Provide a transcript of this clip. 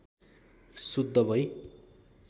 शुद्ध भई